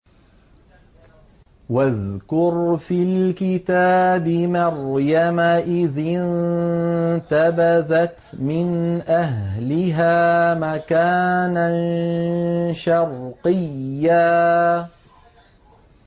وَاذْكُرْ فِي الْكِتَابِ مَرْيَمَ إِذِ انتَبَذَتْ مِنْ أَهْلِهَا مَكَانًا شَرْقِيًّا